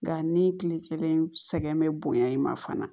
Nga ni kile kelen sɛgɛn bɛ bonya i ma fana